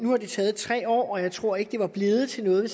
har det taget tre år og jeg tror ikke at det var blevet til noget